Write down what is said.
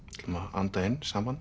anda inn saman